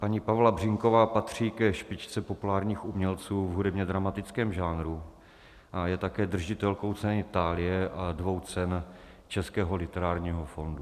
Paní Pavla Břínková patří ke špičce populárních umělců v hudebně-dramatickém žánru a je také držitelkou ceny Thálie a dvou cen Českého literárního fondu.